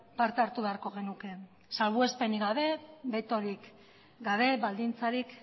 parte hartu beharko genuke salbuespenik gabe betorik gabe baldintzarik